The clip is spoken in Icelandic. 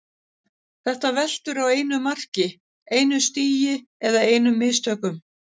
Þetta veltur á einu mark, einu stigi eða einum mistökum.